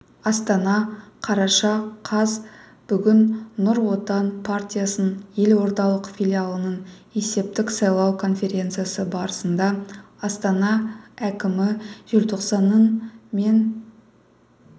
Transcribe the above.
астана қараша қаз бүгін нұр отан партиясының елордалық филиалының есептік-сайлау конференциясы барысында астана әкімі желтоқсанның мен